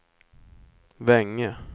Vänge